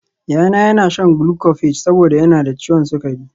Yayana yana shan glucophage saboda yana da ciwon sukari